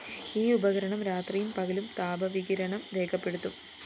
ഈ ഉപകരണം രാത്രിയും പകലും താപവികിരണം രേഖപ്പെടുത്തും